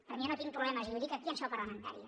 perquè jo no tinc problemes i ho dic aquí en seu parlamentària